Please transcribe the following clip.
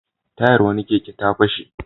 Tayar wani keke ta fashe.